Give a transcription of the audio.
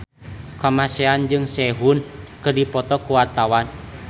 Kamasean jeung Sehun keur dipoto ku wartawan